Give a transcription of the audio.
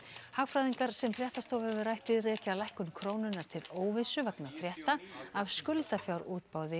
hagfræðingar sem fréttastofa hefur rætt við rekja lækkun krónunnar til óvissu vegna frétta af